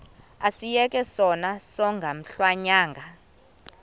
asiyeke sono smgohlwaywanga